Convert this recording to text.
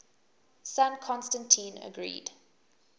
son constantine agreed